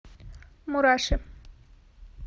мураши